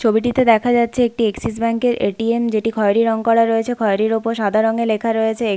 ছবিটিতে দেখা যাচ্ছে একটি এক্সিস ব্যাঙ্ক এর এ.টি.এম. যেটি খয়রি রং করা রয়েছে খয়রির ওপর সাদা রং এ লেখা রয়েছে এ--